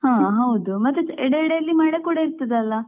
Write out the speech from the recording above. ಹಾ ಹೌದಾ ಮತ್ತೇ ಇಡೆ ಇಡೆಯಲ್ಲಿ ಮಳೆ ಕೂಡ ಇರ್ತದಲ್ಲಾ.